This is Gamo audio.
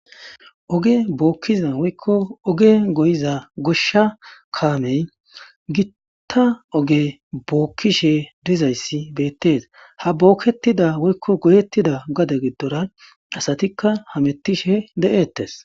Oge bookkiza woykko oge goyiza goshsha kaamey gitta oge bookkishe dizayssi beettees ha bookketida woykko goyettida gade giddora asatikka hamettishe de7ettes.